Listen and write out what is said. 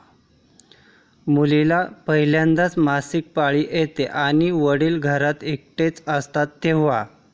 मुलीला पहिल्यांदा मासिक पाळी येते आणि वडील घरात एकटेच असतात तेव्हा...